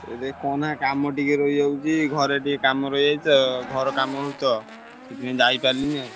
ଆରେ କହନା କାମ ଟିକେ ରହିଯାଉଛି ଘରେ ଟିକେ କାମ ରହିଯାଇଛି ତ ଘର କାମ ହଉଛି ତ ସେଥିପାଇଁ ଯାଇପାରିଲିନି ଆଉ।